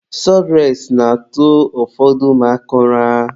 Sọdụres na-atụ ụfọdụ mmadụ ụra.